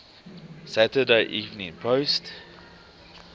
saturday evening post